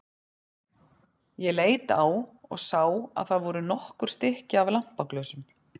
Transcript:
Ég leit á og sá að það voru nokkur stykki af lampaglösum.